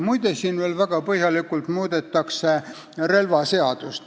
Muide, siin muudetakse väga põhjalikult relvaseadust.